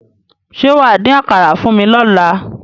Ṣé wà á dín àkàrà fún mi lọ́la?